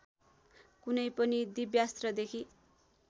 कुनै पनि दिव्यास्त्रदेखि